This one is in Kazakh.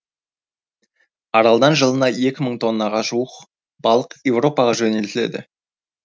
аралдан жылына екі мың тоннаға жуық балық еуропаға жөнелтіледі